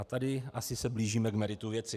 A tady asi se blížíme k meritu věci.